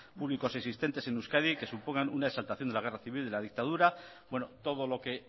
públicos existentes en euskadi que supongan una exaltación de la guerra civil y de la dictadura bueno todo lo que